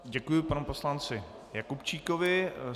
Děkuji panu poslanci Jakubčíkovi.